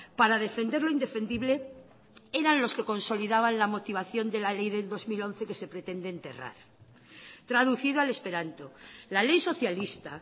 para defender lo indefendible eran los que consolidaban la motivación de la ley de dos mil once que se pretende enterrar traducido al esperanto la ley socialista